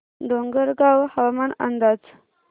डोंगरगाव हवामान अंदाज